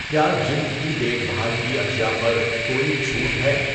کیا جِلد کی دیکھ بھال کی اشیاء پر کوئی چُھوٹ ہے؟